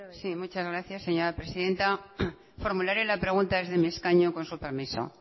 zurea da hitza sí muchas gracias señora presidenta formularé la pregunta desde mi escaño con su permiso